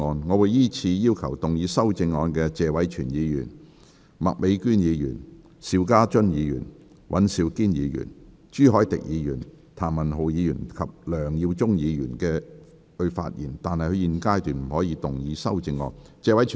我會依次請要動議修正案的謝偉銓議員、麥美娟議員、邵家臻議員、尹兆堅議員、朱凱廸議員、譚文豪議員及梁耀忠議員發言，但他們在現階段不可動議修正案。